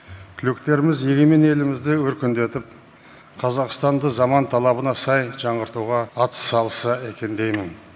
түлектеріміз егемен елімізді өркендетіп қазақстанды заман талабына сай жаңғыртуға атсалысса екен деймін